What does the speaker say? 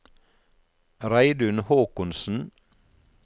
Reidun Håkonsen